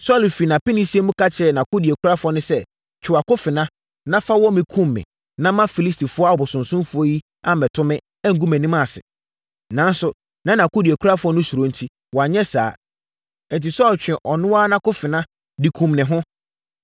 Saulo firi apenesie mu ka kyerɛɛ nʼakodeɛkurafoɔ no sɛ, “Twe wʼakofena, na fa wɔ me kum me na Filistifoɔ abosonsomfoɔ yi ammɛto me, angu mʼanim ase.” Nanso, na nʼakodeɛkurafoɔ no suro enti, wanyɛ saa. Enti, Saulo twee ɔno ara nʼakofena, de kumm ne ho.